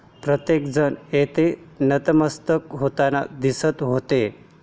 प्रत्येक जण तिथे नतमस्तक होताना दिसत होते.